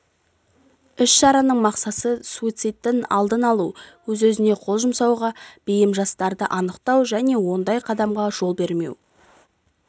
іс-шараның мақсаты суицидтін алдын алу өз-өзіне қол жұмсауға бейім жастарды анықтау және ондай қадамға жол бермеу